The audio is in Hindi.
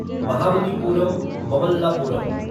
महाबलीपुरम ममल्लापुरम